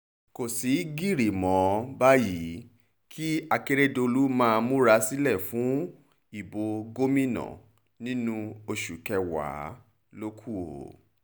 kò sì gírí mọ́ báyìí kí akérédọ́lù máa múra sílẹ̀ fún ìbò gómìnà nínú oṣù kẹwàá ló kù o